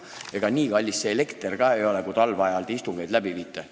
Ega nii kallis see elekter ka ei ole, kui te talveajal istungeid peate.